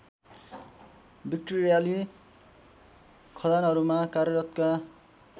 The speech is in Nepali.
विक्टोरियाली खदानहरूमा कार्यरतका